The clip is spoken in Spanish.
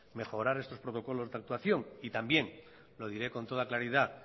mejorar estos protocolos de actuación también lo diré con toda claridad